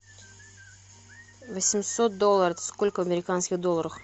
восемьсот долларов это сколько в американских долларах